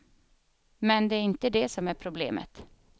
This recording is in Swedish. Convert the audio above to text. Men det är inte det som är problemet.